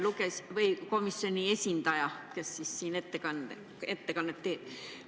Hea komisjoni esindaja, kes siin ettekannet teeb!